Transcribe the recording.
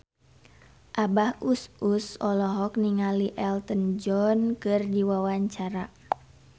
Abah Us Us olohok ningali Elton John keur diwawancara